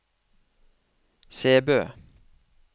Sæbø